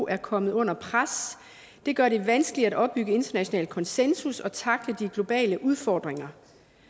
er kommet under pres det gør det vanskeligt at opbygge international konsensus og tackle de globale udfordringer